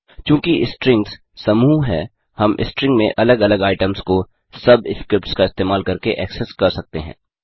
चूँकि स्ट्रिंग्स समूह हैं हम स्ट्रिंग में अलग अलग आइटम्स को सब स्क्रिप्ट्स का इस्तेमाल करके एक्सेस कर सकते हैं